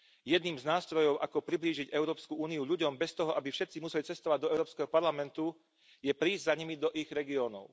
Jedným z nástrojov, ako priblížiť Európsku úniu ľuďom bez toho, aby všetci museli cestovať do Európskeho parlamentu, je prísť za nimi do ich regiónov.